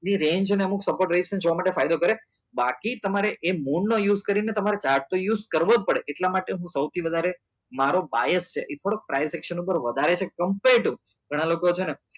ની reng ને અમુક support જોવા માટે ફાયદો કરે બાકી તમારે એ મોન નો use કરી તમ્રે એ chart તો use કરવો જ પડે એટલા માટે હું સૌથી વધારે મારો છે એ થોડો ptivation ઉપર વધારે છે ગણા લોકો છે ને